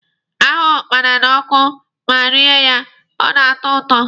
A hụọ ụkpala n'ọkụ ma rie ya, ọ na-atọ ụtọ.